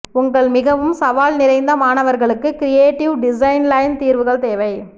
உங்கள் மிகவும் சவால் நிறைந்த மாணவர்களுக்கு கிரியேட்டிவ் டிசைன்லைன் தீர்வுகள் தேவை